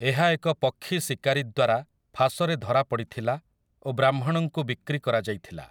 ଏହା ଏକ ପକ୍ଷୀ ଶିକାରୀ ଦ୍ୱାରା ଫାଶରେ ଧରାପଡ଼ିଥିଲା ଓ ବ୍ରାହ୍ମଣଙ୍କୁ ବିକ୍ରି କରାଯାଇଥିଲା ।